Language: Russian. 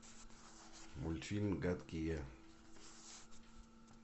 мультфильм гадкий я